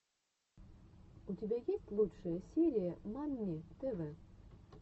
у тебя есть лучшая серия мамми тв